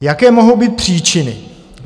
Jaké mohou být příčiny?